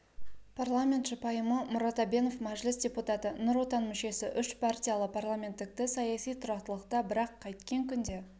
парламентші пайымы мұрат әбенов мәжіліс депутаты нұр отан мүшесі үшпартиялы парламенттіңтіні саяси тұрақтылықта бірақ қайткен күнде